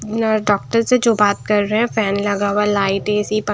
doctor से जो बात कर रहे है फैन लगा हुआ लाइट ए_सी प--